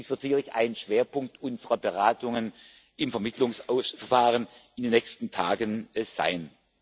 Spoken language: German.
Dies wird sicherlich ein Schwerpunkt unserer Beratungen im Vermittlungsverfahren in den nächsten Tagen sein.